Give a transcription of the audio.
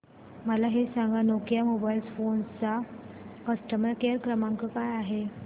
मला हे सांग नोकिया मोबाईल फोन्स चा कस्टमर केअर क्रमांक काय आहे